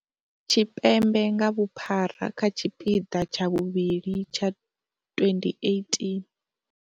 Tshipembe nga vhuphara kha tshipiḓa tsha vhuvhili tsha twendi eighteen.